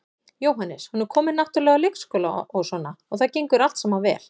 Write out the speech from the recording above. Jóhannes: Hún er komin náttúrulega á leikskóla og svona og það gengur allt saman vel?